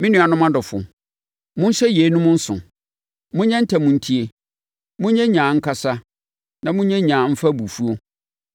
Me nuanom adɔfoɔ, monhyɛ yeinom nso: monyɛ ntɛm ntie, monyɛ nyaa nkasa na monyɛ nyaa mfa abufuo;